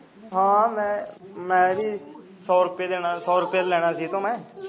ਹਾਂ ਮੈਂ ਵੀ ਸੋ ਰੁਪਿਆ ਦੇਣਾ ਸੋ ਰੁਪਿਆ ਲੈਣਾ ਸੀ ਇਹਦੇ ਤੋਂ ਮੈਂ